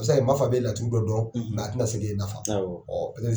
A bɛ se ka kɛ, Mafa bɛ laturu dɔ dɔn, nka a tɛna se k'i nafa